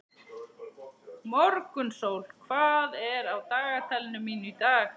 Morgunsól, hvað er á dagatalinu mínu í dag?